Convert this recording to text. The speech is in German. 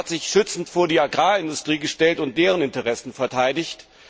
Sie haben sich schützend vor die Agrarindustrie gestellt und deren Interessen verteidigt.